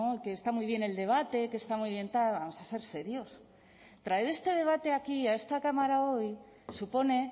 que está muy bien el debate que está muy bien tal vamos a ser serios traer este debate aquí a esta cámara hoy supone